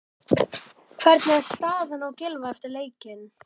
Hvernig er staðan á Gylfa eftir leikinn?